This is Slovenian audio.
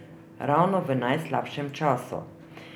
Ravno v najslabšem času.